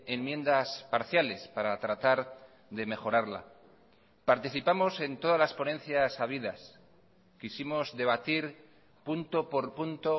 enmiendas parciales para tratar de mejorarla participamos en todas las ponencias habidas quisimos debatir punto por punto